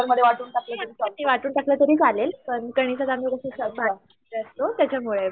वाटून टाकले तरी चालेलं पण त्याच्यामुळे